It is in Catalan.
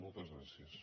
moltes gràcies